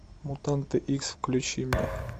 мутанты икс включи мне